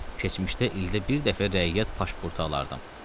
Keçmişdə ildə bir dəfə rəiyyət pasportu alardım.